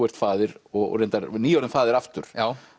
ert faðir og reyndar nýorðinn faðir aftur